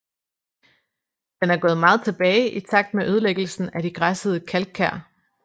Den er gået meget tilbage i takt med ødelæggelsen af de græssede kalkkær